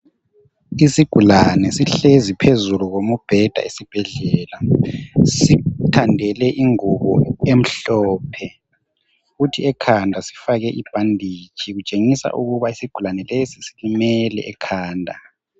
Isigulane sihlezi phezulu kombheda esibhedlela, sithandele ingubo emhlophe kuthi ekhanda sifake ibhanditshi kutshengisa ukuthi ukuba isigulane lesi silimele ekhanda .